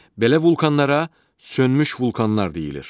Belə vulkanlara sönmüş vulkanlar deyilir.